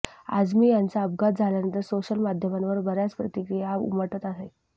आझमी यांचा अपघात झाल्यानंतर सोशल माध्यमांवर बऱ्याच प्रतिक्रीया उमटत आहेत